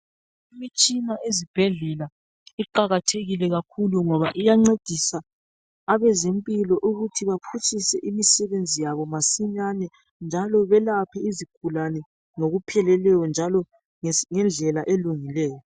Imitshina ezibhedlela iqakathekile kakhulu ngoba iyancedisa abezempilo ukuthi baphutshise imisebenzi yabo masinyane, njalo belaphe izigulane ngokupheleleyo njalo ngendlela elungileyo.